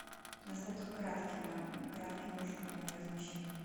насколько кратким может быть мое размещение